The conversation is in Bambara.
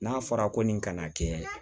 N'a fɔra ko nin kana kɛ